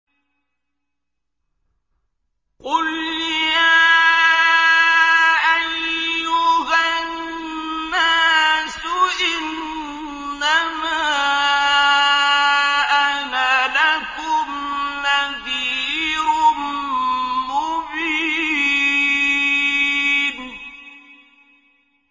قُلْ يَا أَيُّهَا النَّاسُ إِنَّمَا أَنَا لَكُمْ نَذِيرٌ مُّبِينٌ